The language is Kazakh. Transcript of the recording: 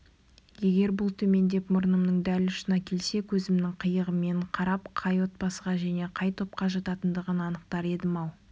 егер бұл төмендеп мұрнымның дәл ұшына келсе көзімнің қиығымен қарап қай отбасыға және қай топқа жататынын анықтар едім-ау